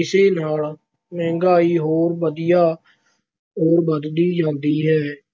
ਇਸ ਨਾਲ ਮਹਿੰਗਾਈ ਹੋਰ ਵਧੀਆ ਹੋਰ ਵਧਦੀ ਜਾਂਦੀ ਹੈ।